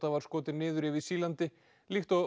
var skotin niður yfir Sýrlandi líkt og